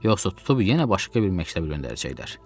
Yoxsa tutub yenə başqa bir məktəbə göndərəcəklər.